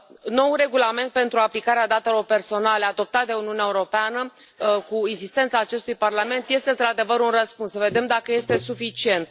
Noul regulament pentru aplicarea datelor personale adoptat de Uniunea Europeană, cu insistența acestui Parlament, este într adevăr un răspuns, să vedem dacă este suficient.